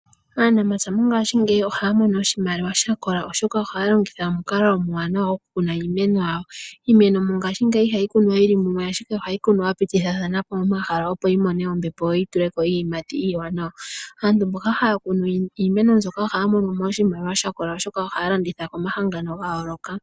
Aanamapya mongashingeyi oha ya mono oshimaliwa shakola , oshoka oha ya longitha omukalo omuwanawa oku kuna iimeno yawo, iimeno mongashingeyi iha yi kunwa yili mumwe ashike oha yi kunwa ya pitithathanapo omahala opo yi mone ombepo, yo yi tuleko iiyimati iiwanawa. Aantu mboka ha ya kunu iimeno mbyoka oha ya mono mo oshimaliwa shakola oshoka oha ya landitha komahangano ga yooloka.